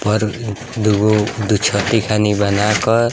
पर दुगो दुछत्ती खनि बना क --